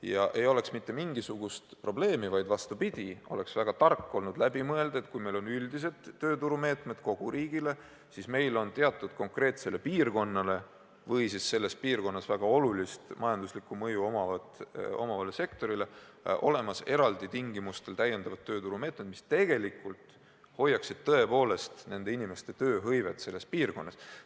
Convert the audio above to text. Ja ei oleks mitte mingisugust probleemi, vaid, vastupidi, oleks väga tark olnud läbi mõelda, et kui meil on üldiselt tööturumeetmed kogu riigile, siis ehk on arukas teatud konkreetsele piirkonnale või selles piirkonnas väga olulist majanduslikku mõju omavale sektorile kehtestada eraldi tingimustel täiendavad tööturumeetmed, mis tõepoolest hoiaksid tööhõivet selles piirkonnas.